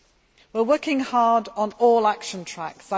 one. We are working hard on all action tracks.